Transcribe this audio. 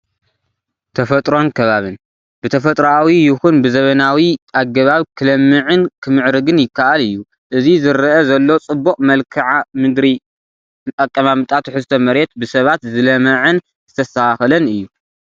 ተፈጥሮን ከባብን፡- ብተፈጥራኣዊ ይኹን ብዘበናዊ ኣገባብ ክለምዕን ክምዕርግን ይካኣል እዩ፡፡ እዚ ዝረአ ዘሎ ፅቡቕ መልክኣ ምድራዊ ኣቀማምጣ ትሕዝቶ መሬት ብሰባት ዝለመዐን ዝተስተኻኸለን እዩ፡፡